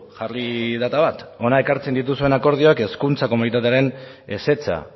jarri data bat hona ekartzen dituzuen akordioa hezkuntza komunitatearen ezetza